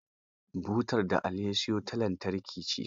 Butar da Ali ya siyo ta lantarki ce.